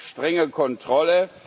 Frage strenge Kontrolle.